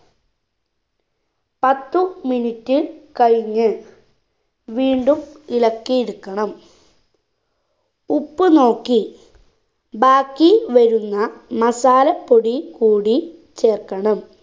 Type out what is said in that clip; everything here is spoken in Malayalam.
പത്തു minute കഴിഞ്ഞ് വീണ്ടും ഇളക്കിയെടുക്കണം ഉപ്പ് നോക്കി ബാക്കി വാരുന്ന masala പൊടി കൂടി ചേർക്കണം